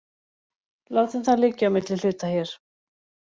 Látum það liggja á milli hluta hér.